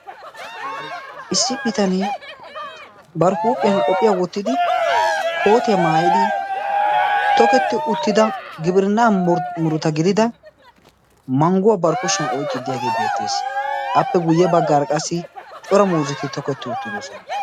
Issi bitanee bari huuphiyan qophiya wottidi kootiya maayidi toketti uttida gibirinnaa muruta gidida mangguwa bari kushiyan oyqqidaagee beettes. Appe guyye baggaara qassi cora muuzzeti toketti uttidosona.